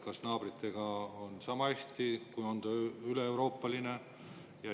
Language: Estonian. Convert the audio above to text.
Kas naabritel on sama hästi kui Euroopas?